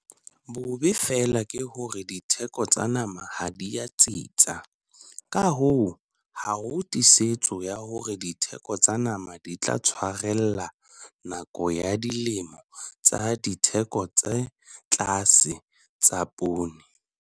Bobe feela ke hore ditheko tsa nama ha di a tsitsa, ka hoo ha ho tiisetso ya hore ditheko tsa nama di tla tshwarella nakong ya dilemo tsa ditheko tse tlase tsa poone.